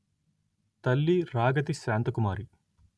తల్లి రాగతి శాంతకుమారి